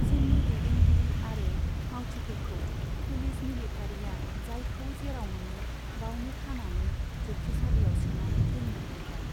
जोंनि दैदेनगिरि आरो मावथिफोरखौ पुलिस मिलिटारीया जायखौ जेराव मोनो बावनो खानानै जोबथेसालियाव सोनानै दोन्नो हमबाय।